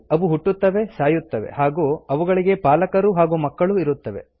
ಅವುಗಳು ಹುಟ್ಟುತ್ತವೆ ಸಾಯುತ್ತವೆ ಹಾಗೂ ಅವುಗಳಿಗೆ ಪಾಲಕರು ಹಾಗೂ ಮಕ್ಕಳೂ ಇರುತ್ತವೆ